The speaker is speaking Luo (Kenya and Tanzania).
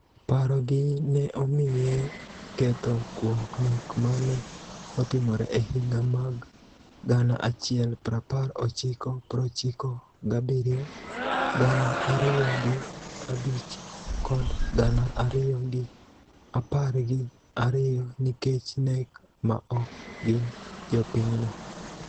Paro gi ne omiye ketho kuom nek ma ne otimore e higa mag gana achiel prapar ochiko prochiko gabiriyo, gana ariyo gi abich kod gana ariyo gi apar gi ariyo nikech nek ma ok gin jopinyno